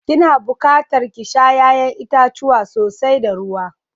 Ki na buƙatar ki sha ya'yan itacuwa sosai da ruwa.